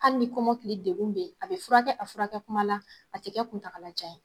Hali ni kɔmɔkili degun bɛ yen a bɛ furakɛ a furakɛ kuma la a tɛ kɛ kuntagakalajan ye.